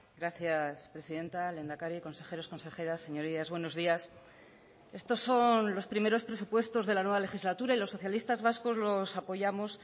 gracias presidenta lehendakari consejeros consejeras señorías buenos días estos son los primeros presupuestos de la nueva legislatura y los socialistas vascos los apoyamos